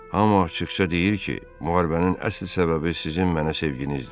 Amma açıqca deyir ki, müharibənin əsl səbəbi sizin mənə sevginizdir.